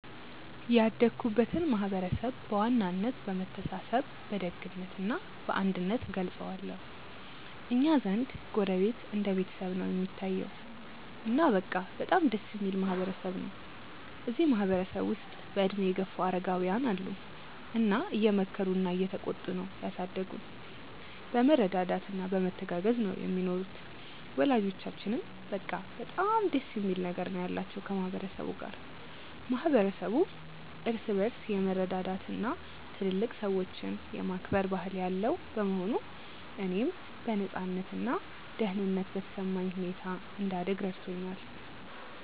ያደግኩበትን ማህበረሰብ በዋናነት በመተሳሰብ በደግነት እና በአንድነት እገልጸዋለሁ። እኛ ዘንድ ጎረቤት እንደ ቤተሰብ ነው እሚታየዉ። እና በቃ በጣም ደስ እሚል ማህበረ ሰብ ነው። እዚህ ማህበረ ሰብ ውስጥ በእድሜ የገፉ አረጋውያን አሉ እና እየመከሩና እየተቆጡ ነው ያሳደጉን። በመረዳዳት እና በመተጋገዝ ነው ሚኖሩት። ወላጆቻችንም በቃ በጣም ደስ የሚል ነገር ነው ያላቸው ከ ማህበረ ሰቡ ጋር። ማህበረሰቡ እርስ በርስ የመረዳዳት እና ትልልቅ ሰዎችን የማክበር ባህል ያለው በመሆኑ፣ እኔም በነፃነት እና ደህንነት በተሰማኝ ሁኔታ እንድደግ ረድቶኛል።